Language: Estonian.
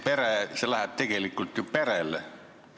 See raha läheb tegelikult ju perele.